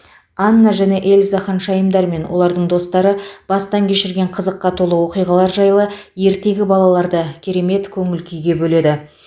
анна және эльза ханшайымдар мен олардың достары бастан кешірген қызыққа толы оқиғалар жайлы ертегі балаларды керемет көңіл күйге бөледі